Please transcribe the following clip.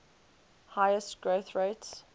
highest growth rates